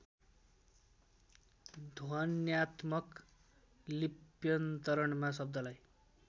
ध्वन्यात्मक लिप्यन्तरणमा शब्दलाई